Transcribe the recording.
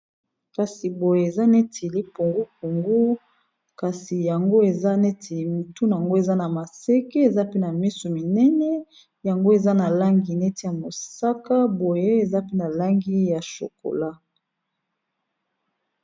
Kasi boye eza neti lipungu pungu kasi yango eza neti mutu na yango eza na maseke eza pe na misu minene yango eza na langi neti ya mosaka boye eza pe na langi ya chokola.